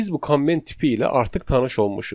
Biz bu komment tipi ilə artıq tanış olmuşuq.